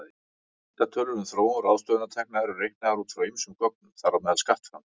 Heildartölur um þróun ráðstöfunartekna eru reiknaðar út frá ýmsum gögnum, þar á meðal skattframtölum.